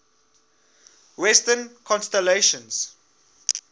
western constellations